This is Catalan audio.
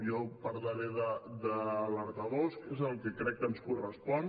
jo parlaré d’ alertadors que és el que crec que ens correspon